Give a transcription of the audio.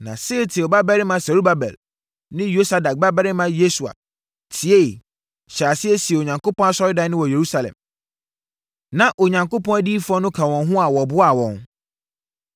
Na Sealtiel babarima Serubabel ne Yosadak babarima Yesua tieeɛ, hyɛɛ aseɛ sii Onyankopɔn asɔredan no wɔ Yerusalem. Na Onyankopɔn adiyifoɔ no ka wɔn ho a wɔboaa wɔn.